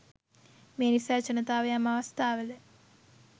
මේ නිසා ජනතාව යම් අවස්ථාවල